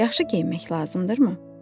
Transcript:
Yaxşı geyinmək lazımdırmı?